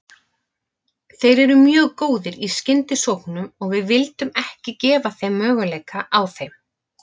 Þeir eru mjög góðir í skyndisóknum og við vildum ekki gefa þeim möguleika á þeim.